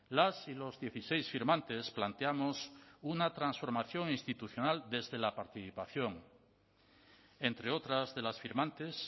las y los dieciséis firmantes planteamos una transformación institucional desde la participación entre otras de las firmantes